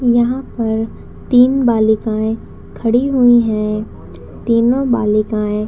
यहाँ पर तीन बालिकाए खड़ी हुई है तीनों बालिकाए--